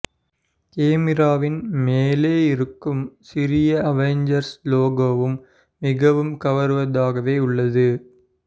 கேமிராவின் மேலே இருக்கும் சிறிய அவெஞ்சர்ஸ் லோகோவும் மிகவும் கவருவதாகவே உள்ளது